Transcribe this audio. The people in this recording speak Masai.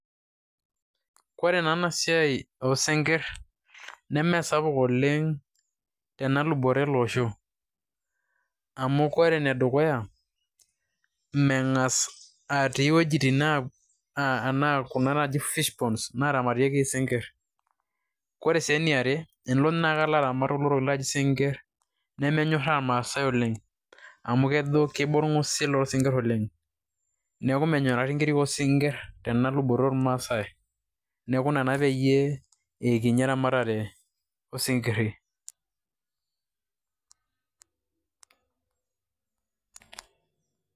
kore naa ena siai oosinkir, nene sapuk oleng tena luboto ele osho, amu kore ene dukuya, mme ngas atii iwuejitin naaji fishponds, kuna naaramatieki isinkir, kore sii eniare tenilo naaji nilo aramat isinkir nemenyoraa irmaasae oleng. amu kejo kiba orng'usil loo sinkir oleng. neeku menyikakini inkirik oo sinkir, tena luboto oormaasae. neeku ina naa peyiee, kinyi eramatare osinkiri.